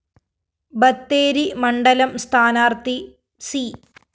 ബത്തേരി മണ്ഡലം സ്ഥാനാര്‍ത്ഥി സി